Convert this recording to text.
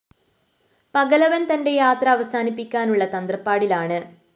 പകലവന്‍ തന്റെ യാത്ര അവസാനിപ്പിക്കാനുള്ള തത്രപ്പാടിലാണ്